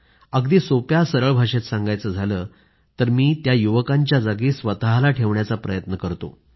अगदी सोप्या सरळ भाषेत सांगायचं झालं तर मी त्या युवकांच्या जागी स्वतःला ठेवण्याचा प्रयत्न करतो